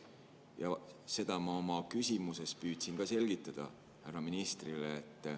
Ja seda ma oma küsimuses püüdsin selgitada ka härra ministrile.